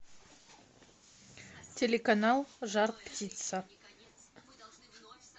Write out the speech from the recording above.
телеканал жар птица